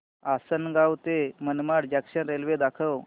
आसंनगाव ते Manmad junction railway दाखव